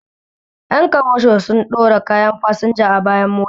Ƴan kamasho su ɗora kayan fasinja a bayan mota